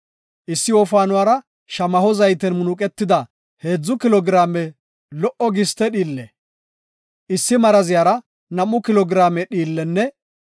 Issi wofaanuwara shamaho zayten munuqetida heedzu kilo giraame lo77o giste dhiille, issi maraziyara nam7u kilo giraame dhiillenne